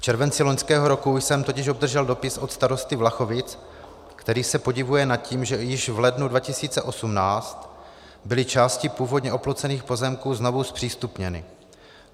V červenci loňského roku jsem totiž obdržel dopis od starosty Vlachovic, který se podivuje nad tím, že již v lednu 2018 byly části původně oplocených pozemků znovu zpřístupněny.